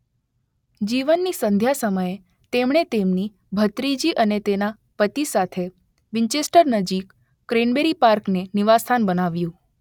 જીવનની સંધ્યા સમયે તેમણે તેમની ભત્રીજી અને તેના પતિ સાથે વિન્ચેસ્ટર નજીક ક્રેનબરી પાર્કને નિવાસસ્થાન બનાવ્યું.